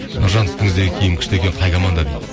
нұржан үстіңіздегі киім күшті екен қай команда дейді